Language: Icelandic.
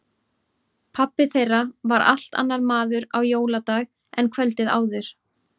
Pabbi þeirra var allt annar maður á jóladag en kvöldið áður.